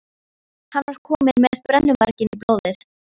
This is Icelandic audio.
Hann er kominn með brennuvarginn í blóðið!